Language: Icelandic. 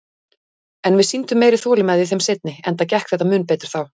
En við sýndum meiri þolinmæði í þeim seinni, enda gekk þetta mun betur þá.